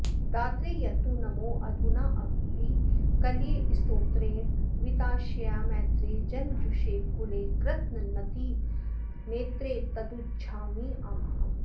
दात्रे यत्तु नमोऽधुनाऽपि कलये स्तोत्रेण वित्ताशया मैत्रे जन्मजुषे कुले कृतनतिर्नेत्रे तदुज्झाम्यहम्